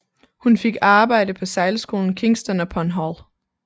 Hun fik arbejde på sejlskolen Kingston upon Hull